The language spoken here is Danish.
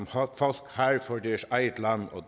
har for deres eget land og